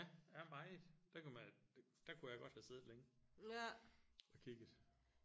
Ja ja meget der kunne man der kunne jeg godt have siddet længe og kigget